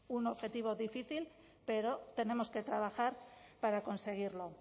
un objetivo difícil pero tenemos que trabajar para conseguirlo